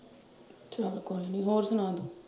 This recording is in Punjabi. ਚੱਲ ਕੋਈ ਨਈਂ ਹੋਰ ਸੁਣਾ ਤੂੰ।